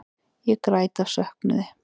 Ég græt af söknuði.